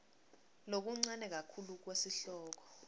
lokuncane kakhulu kwesihloko